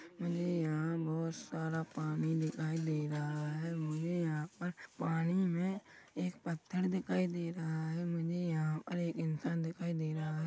मुझे यहाँ बहोत सारा पानी दिखाई दे रहा हैं मुझे यहाँ पर पानी मे एक पत्थर दिखाई दे रहा हैं मुझे यहाँ पर एक इंसान दिखाई दे रहा हैं।